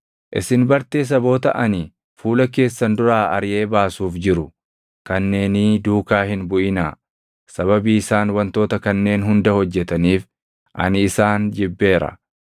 Isin bartee saboota ani fuula keessan duraa ariʼee baasuuf jiru kanneenii duukaa hin buʼinaa; sababii isaan wantoota kanneen hunda hojjetaniif ani isaan jibbeera.